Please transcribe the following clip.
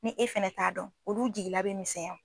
Ni e fɛnɛ t'a dɔn olu jigila be misɛya